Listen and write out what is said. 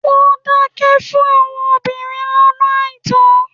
Wọ́n dábẹ fún àwọn obìnrin lọ́nà àìtọ́.